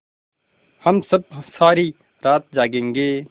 हम सब सारी रात जागेंगे